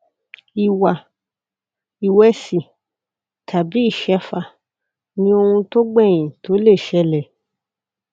ìwà ìwẹsì tàbí ìṣẹfà ni ohun tó gbèyìn tó lè ṣẹlẹ